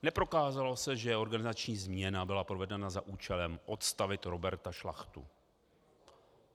Neprokázalo se, že organizační změna byla provedena za účelem odstavit Roberta Šlachtu.